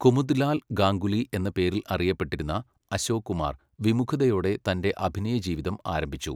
കുമുദ്ലാൽ ഗാംഗുലി എന്ന പേരിൽ അറിയപ്പെട്ടിരുന്ന, അശോക് കുമാർ വിമുഖതയോടെ തൻറെ അഭിനയ ജീവിതം ആരംഭിച്ചു.